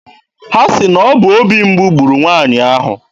Ha sị na ọ bụ obi mgbu gburu nwaanyị ahụ.